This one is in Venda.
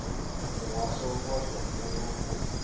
muhasho wa zwa muno u